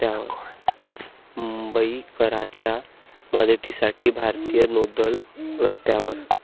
मुंबईकरांच्या मदतीसाठी भारतीय नौदल रस्त्यावर